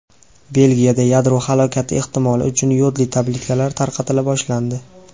Belgiyada yadro halokati ehtimoli uchun yodli tabletkalar tarqatila boshlandi.